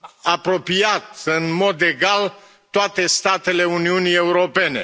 apropiat, în mod egal, toate statele Uniunii Europene.